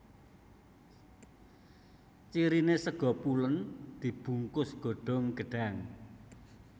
Cirine sega pulen dibungkus godhong gedhang